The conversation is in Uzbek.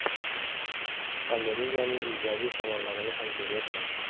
Pandemiyaning ijobiy tomonlarini ham ko‘ryapman.